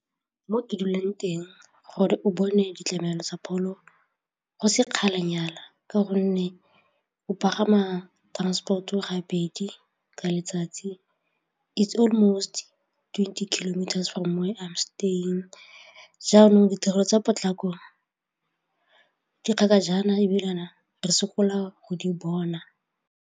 Mo ke dulang teng gore o bone ditlamelo tsa pholo go sekgalanyana ka gonne o pagama transport-o gabedi ka letsatsi it's almost twenty kilometers from where I'm staying jaanong ditirelo tsa potlako di kgakajana ebilane re sokola go di bona.